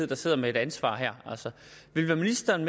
der sidder med et ansvar her vil ministeren